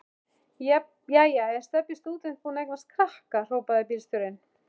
Jæja er Stebbi stúdent búinn að eignast krakka? hrópaði bílstjórinn.